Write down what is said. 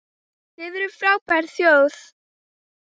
Þið eruð frábær þjóð!